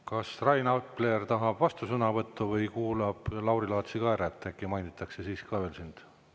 Kas Rain Epler tahab vastusõnavõttu või kuulab Lauri Laatsi ka ära, et äkki mainitakse siis ka veel sind?